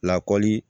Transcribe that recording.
Lakɔli